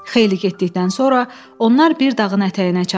Xeyli getdikdən sonra onlar bir dağın ətəyinə çatdılar.